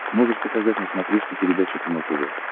можешь показать на смотрешке передачу кино тв